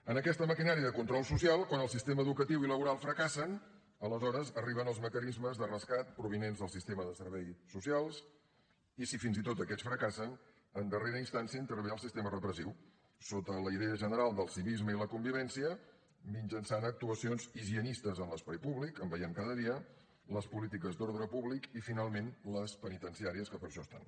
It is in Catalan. en aquesta maquinària de control social quan el sistema educatiu i laboral fracassen aleshores arriben els mecanismes de rescat provinents del sistema de serveis socials i si fins i tot aquests fracassen en darrera instància hi intervé el sistema repressiu sota la idea general del civisme i la convivència mitjançant actuacions higienistes en l’espai públic en veiem cada dia les polítiques d’ordre públic i finalment les penitenciàries que per a això hi són